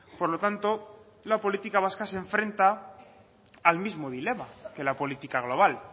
por lo tanto la política vasca se enfrenta al mismo dilema que la política global